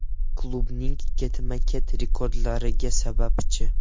Klubning ketma-ket rekordlariga sababchi.